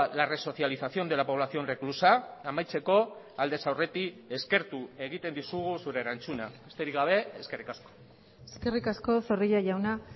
la resocialización de la población reclusa amaitzeko aldez aurretik eskertu egiten dizugu zure erantzuna besterik gabe eskerrik asko eskerrik asko zorrilla jauna